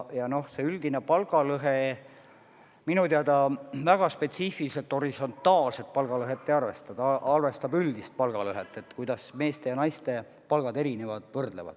Ja see üldine palgalõhe minu teada väga spetsiifiliselt horisontaalset palgalõhet ei arvesta, see arvestab üldist palgalõhet, kuidas meeste ja naiste palgad erinevad.